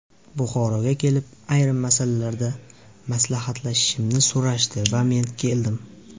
Buxoroga kelib, ayrim masalalarda maslahatlashishimni so‘rashdi va men keldim.